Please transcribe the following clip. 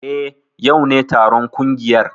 Eh, yau ne taron kungiyar.